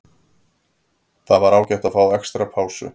Það var ágætt að fá extra pásu.